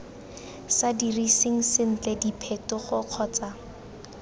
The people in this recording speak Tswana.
sa diriseng sentle diphetogo kgotsa